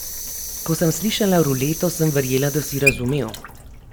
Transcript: Ko sem slišala Ruleto, sem verjela, da si razumel.